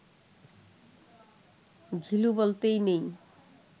ঘিলু বলতেই নেই